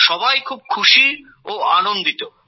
সবাই খুব খুশি ও আনন্দিত